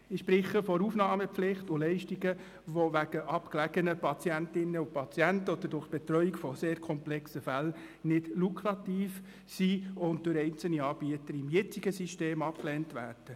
Ich spreche von Aufnahmepflicht und Leistungen, die wegen abgelegen wohnenden Patientinnen und Patienten oder durch die Betreuung sehr komplexer Fälle nicht lukrativ sind und im jetzigen System von einzelnen Anbietern abgelehnt werden.